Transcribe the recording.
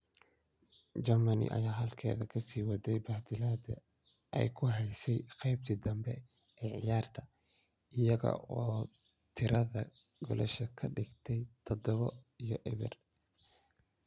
Germany ayaa halkeeda kasii waday bahdilaadii ay ku haysay qaybtii danbe ee ciyaarta iyaga oo tirada goolasha ka dhigay tadhawo iyo ebeer